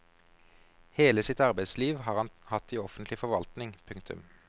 Hele sitt arbeidsliv har han hatt i offentlig forvaltning. punktum